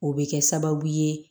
O bɛ kɛ sababu ye